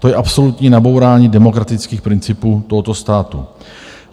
To je absolutní nabourání demokratických principů tohoto státu.